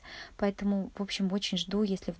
поэтому в общем очень жду если